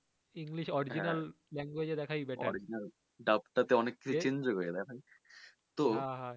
Original language এ দেখায় যায় হা হা